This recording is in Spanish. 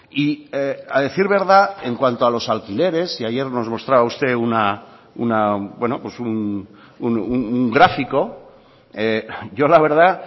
y a decir verdad en cuanto a los alquileres y ayer nos mostraba usted un gráfico yo la verdad